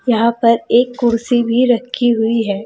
यहां पर एक कुर्सी भी रखी हुई है।